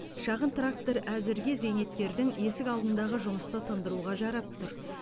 шағын трактор әзірге зейнеткердің есік алдындағы жұмысты тындыруға жарап тұр